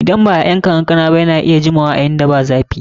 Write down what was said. Idan ba'a yanka kankana ba, yana iya jimawa a inda ba zafi.